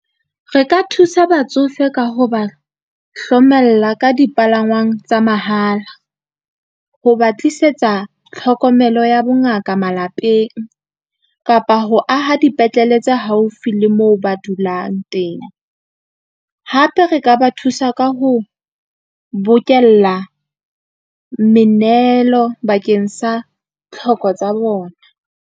Re ka thusa batsofe ka ho ba hlomella ka dipalangwang tsa mahala, ho ba tlisetsa tlhokomelo ya bongaka malapeng kapa ho aha dipetlele tse haufi le moo ba dulang teng. Hape re ka ba thusa ka ho bokella menehelo bakeng sa tlhoko tsa bona.